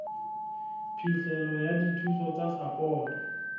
phihlelo ya dithuso tsa sapoto